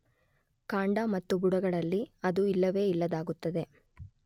ಕಾಂಡ ಮತ್ತು ಬುಡಗಳಲ್ಲಿ ಅದು ಇಲ್ಲವೇ ಇಲ್ಲದಾಗುತ್ತದೆ.